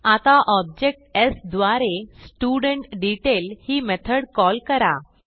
आता objects द्वारे studentDetail ही मेथड कॉल करा